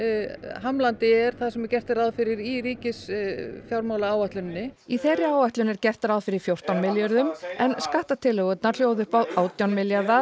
hamlandi er það sem gert er ráð fyrir í ríkisfjármálaáætluninni í þeirri áætlun er gert ráð fyrir fjórtán milljörðum en skattatillögurnar hljóða upp á átján milljarða